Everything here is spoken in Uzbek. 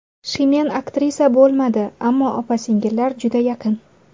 Shimen aktrisa bo‘lmadi, ammo opa-singillar juda yaqin.